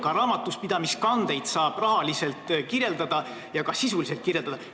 Ka raamatupidamiskandeid saab rahaliselt kirjeldada ja sisuliselt kirjeldada.